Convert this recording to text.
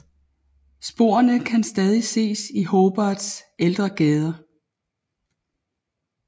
Sporene kan stadig ses i Hobarts ældre gader